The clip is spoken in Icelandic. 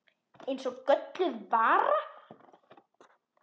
Eins og gölluð vara.